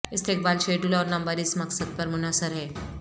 استقبال شیڈول اور نمبر اس مقصد پر منحصر ہے